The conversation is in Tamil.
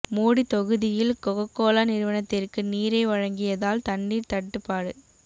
மோடி தொகுதியில் கோக கோலா நிறுவனத்திற்கு நீரை வழங்கியதால் தண்ணீர் தட்டுப்பாடு